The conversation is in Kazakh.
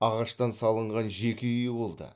ағаштан салынған жеке үйі болды